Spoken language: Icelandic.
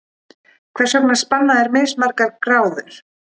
Hvers vegna spanna þeir mismargar gráður?